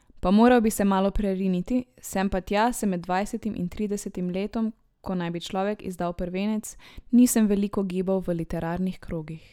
Pa moral bi se malo preriniti, sam pa se med dvajsetim in tridesetim letom, ko naj bi človek izdal prvenec, nisem veliko gibal v literarnih krogih.